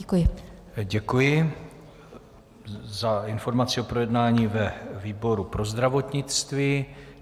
Děkuji za informaci o projednání ve výboru pro zdravotnictví.